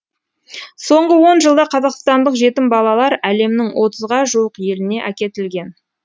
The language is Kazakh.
соңғы он жылда қазақстандық жетім балалар әлемнің отызға жуық еліне әкетілген